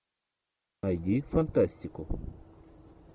найди фантастику